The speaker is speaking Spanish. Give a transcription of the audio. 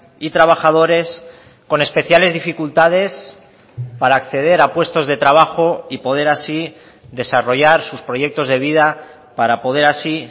y trabajadores con especiales dificultades para acceder a puestos de trabajo y poder así desarrollar sus proyectos de vida para poder así